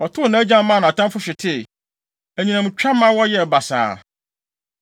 Ɔtow nʼagyan maa nʼatamfo hwetee; anyinam twa ma wɔyɛɛ basaa.